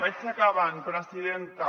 vaig acabant presidenta